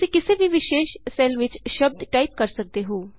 ਤੁਸੀਂ ਕਿਸੇ ਵੀ ਵਿਸ਼ੇਸ਼ ਸੈੱਲ ਵਿਚ ਸ਼ਬਦ ਟਾਈਪ ਕਰ ਸਕਦੇ ਹੋ